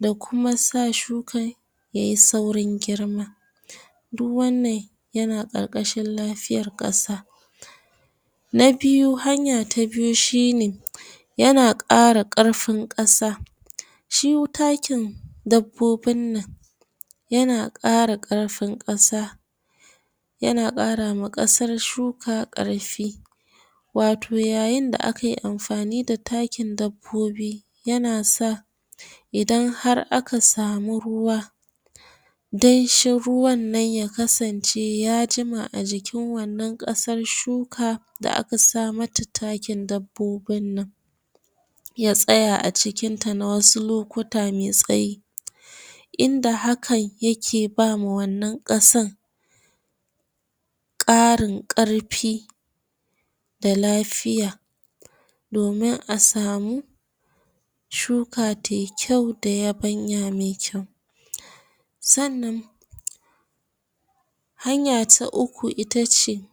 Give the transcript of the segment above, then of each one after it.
da kuma sa shukan ya yi saurin girma duk wannan yana karkashin lafiyar kasa na biyu hanya ta biyu shi ne yana kara karfin kasa shi takin dabbobin nan yana kara karfin kasa yana karawa kasar shuka karfi wato yayin da kai amfani da takin dabbobi yana sa idan har aka samu ruwa danshin ruwannan ya kasance ya jima a jikin wannan kasar shuka da aka samata takin dabbobinnan ya tsaya a cikinta ma na wasu lokuta mai tsayi inda hakan ya ke bawa wannan kasan karin karfi da lafiya domin a samu shuka tai kyau da yabanya mai kyau sannan hanya ta uku itace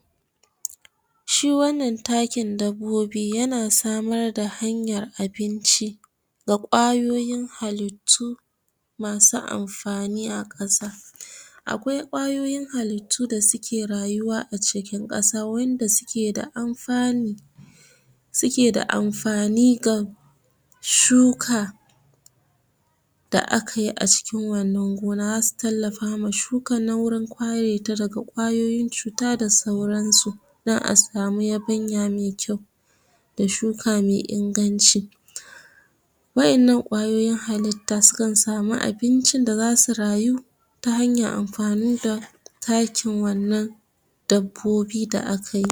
shi wannan takin dabbobi yana samar da hanyar abinci da kwayoyin halittu masu amfani a kasa akwai kayoyin haluttu da suke rayuwa a cikin kasa wanda suke da amfanu suke da amfani ga shuka da aka yi a cikin wannan gona za su tallafawa shukannan wajan ka reta daga kwayoyin cuta da sauran su dan a sami yabanya mai kyau da shuka mai inganci wa'yannan kwayoyin halitta su kan samu abincin da za su rayu ta hanyar amfani da takin wannan dabbobi da akayi